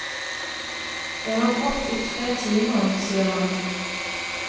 Jeg har grått i tre timer, sier han.